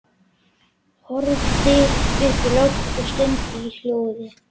Horfði upp í loftið og stundi í hljóði.